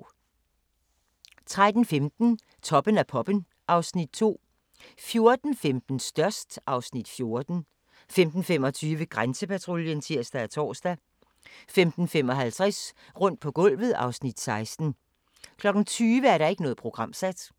13:15: Toppen af poppen (Afs. 2) 14:15: Størst (Afs. 14) 15:25: Grænsepatruljen (tir-tor) 15:55: Rundt på gulvet (Afs. 16) 20:00: Ikke programsat